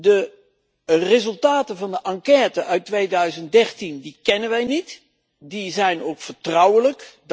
De resultaten van de enquête uit 2013 die kennen wij niet, die zijn ook vertrouwelijk.